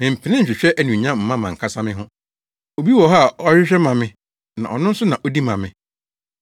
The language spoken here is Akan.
Memmpere nhwehwɛ anuonyam mma mʼankasa me ho. Obi wɔ hɔ a ɔhwehwɛ ma me na ɔno nso na odi ma me.